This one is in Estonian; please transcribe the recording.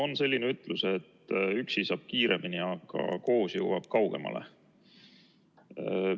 On selline ütlus, et üksi saab kiiremini, aga koos jõuab kaugemale.